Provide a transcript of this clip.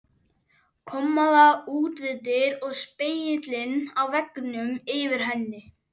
Kommóða út við dyr og spegillinn á veggnum yfir henni.